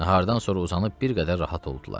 Nahardan sonra uzanıb bir qədər rahat oldular.